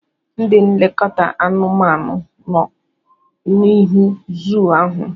Ndị n'elekọta anumanu nọ n'ihu zuu ahụ.